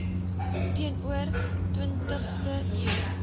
teenoor twintigste eeu